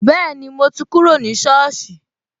Bẹẹni, mo ti kúrò ní soosi